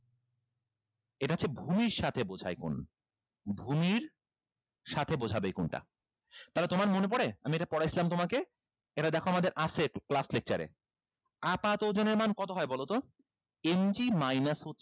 এটা হচ্ছে ভূমির সাথে বুঝায় গুন ভূমির সাথে বোঝাবে এই গুনটা তাহলে তোমার মনে পরে আমি এটা পড়াইছিলাম তোমাকে এটা দেখো আমাদের আছে এইটুক class lecture এ আপাত ওজনের মান কত হয় বলো তো ইঞ্চি minus